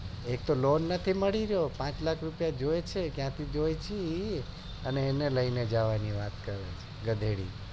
એક તો loan નથી મળી ને પાંચ લાખ રૂપિયા જોવે છે ને ક્યાંથી જોવે છે એ પણ ખબર નથી અને એને લઈને જવાની વાત કરે છે ગધેડી